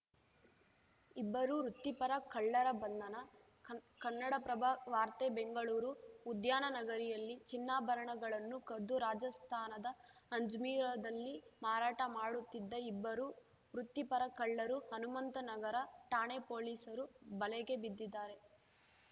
ಇಬ್ಬರು ವೃತ್ತಿಪರ ಕಳ್ಳರ ಬಂಧನ ಕನ್ ಕನ್ನಡಪ್ರಭ ವಾರ್ತೆ ಬೆಂಗಳೂರು ಉದ್ಯಾನ ನಗರಿಯಲ್ಲಿ ಚಿನ್ನಾಭರಣಗಳನ್ನು ಕದ್ದು ರಾಜಸ್ಥಾನದ ಅಜ್ಮೀರ್‌ದಲ್ಲಿ ಮಾರಾಟ ಮಾಡುತ್ತಿದ್ದ ಇಬ್ಬರು ವೃತ್ತಿಪರ ಕಳ್ಳರು ಹನುಮಂತನಗರ ಠಾಣೆ ಪೊಲೀಸರು ಬಲೆಗೆ ಬಿದ್ದಿದ್ದಾರೆ